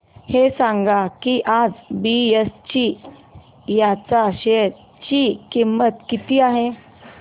हे सांगा की आज बीएसई च्या शेअर ची किंमत किती आहे